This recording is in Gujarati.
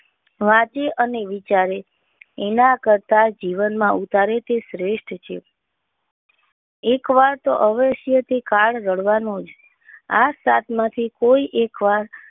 વાતે અને વિચારે એના કરતાં જીવનમાં ઉતારે તે શ્રેષ્ઠ. એક વાર તો અવશ્ય થી કાળવા નો આ સાત માંથી કોઈ એક વાર